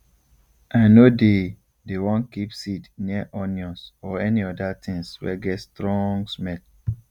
i nor dey dey wan keep seed near onions or any other thing wey get strong smell